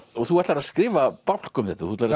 þú ætlar að skrifa bálk um þetta þú ætlar